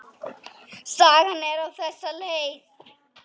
Sagan er á þessa leið: